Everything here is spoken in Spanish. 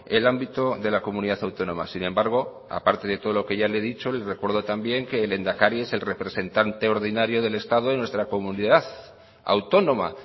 el ámbito de la comunidad autónoma sin embargo aparte de todo lo que ya le he dicho y le recuerdo también que el lehendakari es el representante ordinario del estado en nuestra comunidad autónoma